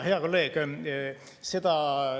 Hea kolleeg!